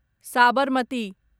Sabarmati